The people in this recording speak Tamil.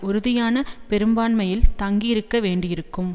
உறுதியான பெரும்பான்மையில் தங்கியிருக்கவேண்டியிருக்கும்